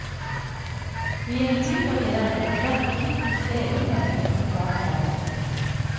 I en ny vurdering må derfor guttens egen mening komme klart frem.